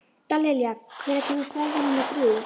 Dallilja, hvenær kemur strætó númer þrjú?